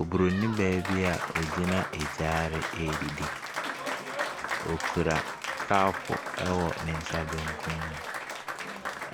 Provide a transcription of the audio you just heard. Obronin baa bi a ɔgyina gyaade redidi. Ɔkura kɔpo wɔ ne nsa benkum mu,